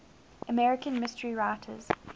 american mystery writers